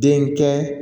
Den kɛ